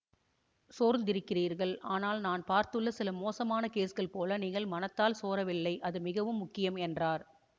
சோர்ந்திருக்கிறீர்கள் ஆனால் நான் பார்த்துள்ள சில மோசமான கேஸ்கள் போல நீங்கள் மனத்தால் சோரவில்லை அது மிகவும் முக்கியம் என்றார்